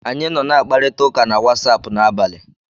Anyị nọ n'akparita na Watsaapụ n'abalị.